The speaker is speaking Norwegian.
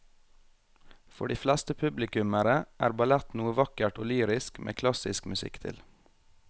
For de fleste publikummere er ballett noe vakkert og lyrisk med klassisk musikk til.